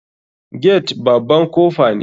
Gate baban kofa ne.